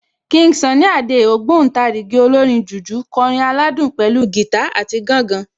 King Sunny Adé, ògbóǹtarìgì olórin jùjú kọrin aládùn pẹ̀lú gìtá àti gángan